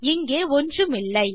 இங்கே ஒன்றுமில்லை